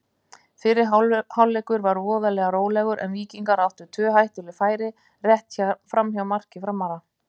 Fyrri hálfleikur var voðalega rólegur en Víkingar áttu tvö hættuleg færi rétt framhjá marki Framara.